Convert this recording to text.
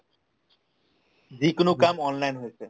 যিকোনো কাম online হৈছে